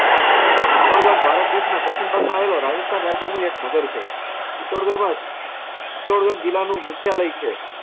ચિત્તોડગઢ ભારત દેશના પશ્ચિમ ભાગમાં આવેલો રાજસ્થાન રાજ્યનું એક નગર છે. ચિત્તોડગઢમાં ચિત્તોડગઢ જિલ્લાનું આલય છે.